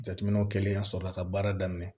Jateminɛw kɛlen ya sɔrɔla ka baara daminɛ